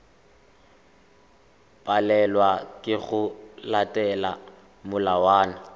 palelwa ke go latela melawana